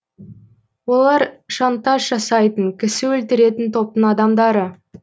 олар шантаж жасайтын кісі өлтіретін топтың адамдары